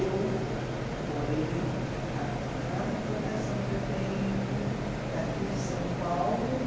Eu morei, a a maior recordação que eu tenho daqui de São Paulo